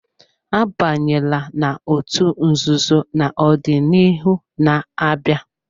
Abanyela n'otú nzuzo na ọdịnihu na-abịa!